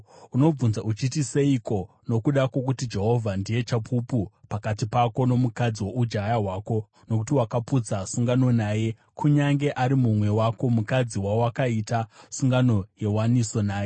Unobvunza uchiti, “Seiko?” Nokuda kwokuti Jehovha ndiye chapupu pakati pako nomukadzi woujaya hwako nokuti wakaputsa sungano naye, kunyange ari mumwe wako, mukadzi wawakaita sungano yewaniso naye.